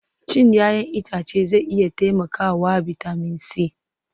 Cin 'ya'yan itace zai iya taimakawa bitamin C